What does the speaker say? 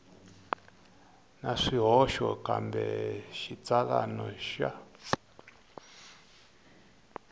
na swihoxo kambe xitsalwana xa